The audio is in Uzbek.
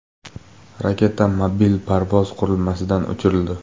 Raketa mobil parvoz qurilmasidan uchirildi.